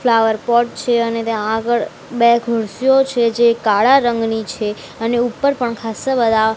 flower pot છે અને ત્યાં આગળ બે ખુરસીઓ છે જે કાળા રંગની છે અને ઉપર પણ ખાસ્સા બધા --